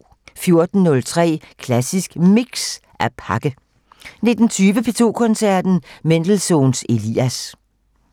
14:03: Klassisk Mix - At pakke 19:20: P2 Koncerten - Mendelssohns Elias